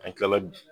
An kila la